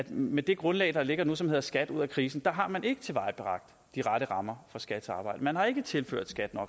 med det grundlag der ligger nu som hedder skat ud af krisen har man ikke tilvejebragt de rette rammer for skats arbejde man har ikke tilført skat